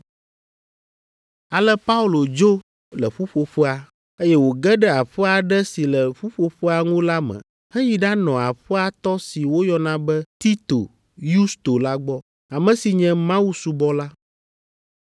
Ale Paulo dzo le ƒuƒoƒea, eye wòge ɖe aƒe aɖe si le ƒuƒoƒea ŋu la me, heyi ɖanɔ aƒea tɔ si woyɔna be Tito Yusto la gbɔ, ame si nye Mawusubɔla.